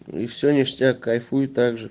и всё ништяк кайфуй так же